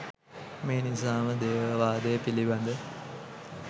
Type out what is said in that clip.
මේ නිසා ම දේව වාදය පිළිබඳ